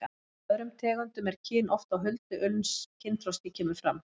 En hjá öðrum tegundum er kyn oft á huldu uns kynþroski kemur fram.